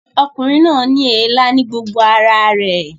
Ọkùnrin náà ní èélá ní gbogbo ara rẹ̀